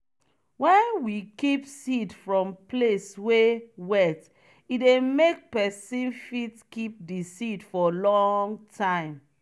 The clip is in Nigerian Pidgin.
wen we keep seed from place wey wet e dey make pesin fit keep di seed for long time.